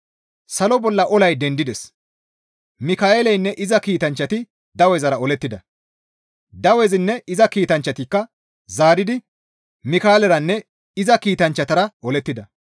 Salo bolla olay dendides; Mikaaleynne iza kiitanchchati dawezara olettida. Dawezinne iza kiitanchchatikka zaaridi Mikaaleranne iza kiitanchchatara olettida.